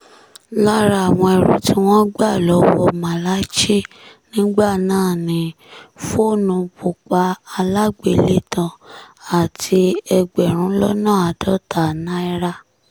lára àwọn ẹrù tí wọ́n gbà lọ́wọ́ malachy nígbà náà ni fóònù bùpà alágbélétàn àti ẹgbẹ̀rún lọ́nà àádọ́ta náírà